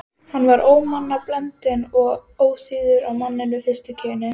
Erla: Og hvernig gengur þeim að fæða?